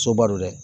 Soba don dɛ